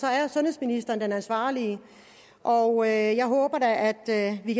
er sundhedsministeren den ansvarlige og jeg håber da at vi